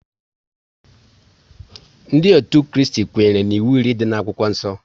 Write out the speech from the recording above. Ndị otu Kristi kwenyere n'iwu iri dị n'akwụkwọ nsọ